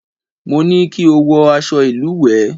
Mo ní kí o wọ aṣọ ìlùwẹ̀!